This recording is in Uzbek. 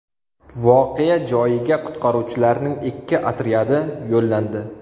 Voqea joyiga qutqaruvchilarning ikki otryadi yo‘llandi.